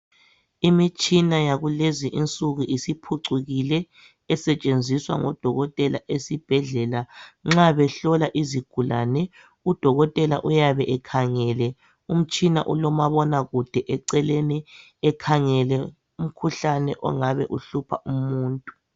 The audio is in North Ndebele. Imitshina yakulezinsuku isiphucukile esetshenziswa ngodokotela esibhedlela nxa behlola . Nxa behlola izigulane, udokotela uyabe ekhangele umtshina olomabonakude eceleni ekhangele umkhuhlane ongabe uhlupha umuntu.